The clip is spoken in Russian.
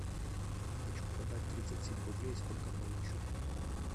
хочу продать тридцать семь рублей сколько получу